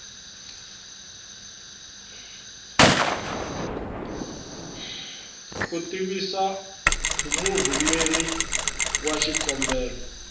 ku tivisa murhumeri wa xikombelo